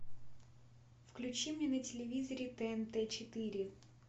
включи мне на телевизоре тнт четыре